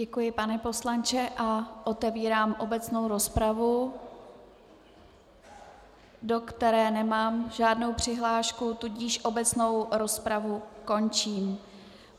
Děkuji, pane poslanče, a otevírám obecnou rozpravu, do které nemám žádnou přihlášku, tudíž obecnou rozpravu končím.